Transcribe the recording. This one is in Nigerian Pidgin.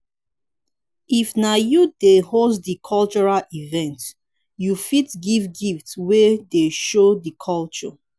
if na you dey host di cultural event you fit give gift wey dey show di culture